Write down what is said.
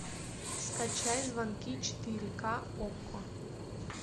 скачай звонки четыре ка окко